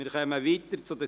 Wir kommen zu Ziel 2.